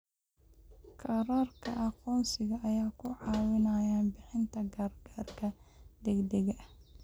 Kaararka aqoonsiga ayaa ku caawinaya bixinta gargaarka degdegga ah.